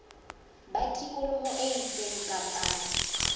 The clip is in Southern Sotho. ba tikoloho e itseng kapa